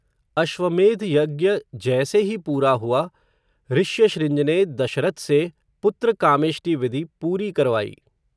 अश्वमेध यज्ञ जैसे ही पूरा हुआ, ऋश्यशृंज ने, दशरथ से, पुत्र कामेष्टि विधि पूरी करवाई